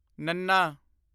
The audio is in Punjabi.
ਨੱਨਾ